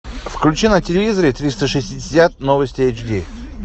включи на телевизоре триста шестьдесят новости эйч ди